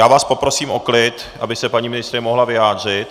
Já vás poprosím o klid, aby se paní ministryně mohla vyjádřit...